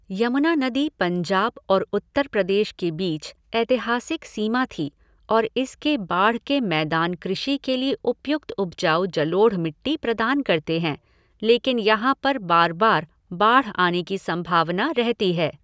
यमुना नदी पंजाब और उत्तर प्रदेश के बीच ऐतिहासिक सीमा थी और इसके बाढ़ के मैदान कृषि के लिए उपयुक्त उपजाऊ जलोढ़ मिट्टी प्रदान करते हैं, लेकिन यहां पर बार बार बाढ़ आने की संभावना रहती है।